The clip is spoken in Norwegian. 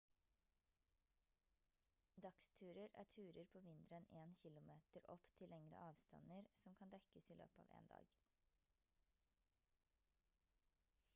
dagsturer er turer på mindre enn 1 km opp til lengre avstander som kan dekkes i løpet av 1 dag